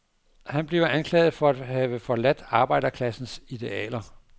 Han bliver anklaget for at have forladt arbejderklasses idealer.